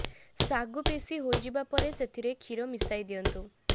ଶାଗୁ ପେଷି ହୋଇଯିବା ପରେ ସେଥିରେ କ୍ଷୀର ମିଶାଇ ଦିଅନ୍ତୁ